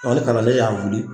Ɔ ni kalanden y'a wuli